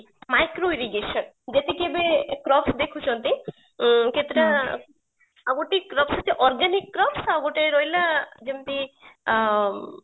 micro irrigation ଯେତିକି ବି crops ଦେଖୁଛନ୍ତି କେତେଟା ଆଉଗୋଟେ crops ଅଛି organic crops ଆଉ ଗୋଟେ ରହିଲା ଯେମିତି ଅ